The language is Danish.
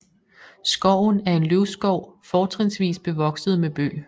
Skoven er en løvskov fortrinsvis bevokset med bøg